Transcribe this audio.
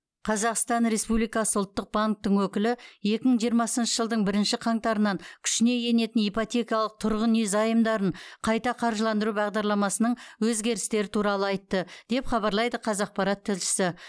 қазақстан республикасы ұлттық банктің өкілі екі мың жиырмасыншы жылдың бірінші қаңтарынан күшіне енетін ипотекалық тұрғын үй заемдарын қайта қаржыландыру бағдарламасының өзгерістері туралы айтты деп хабарлайды қазақпарат тілшісі